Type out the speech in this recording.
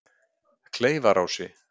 Kleifarási